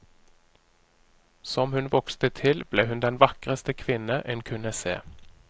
Som hun vokste til ble hun den vakreste kvinne en kunne se.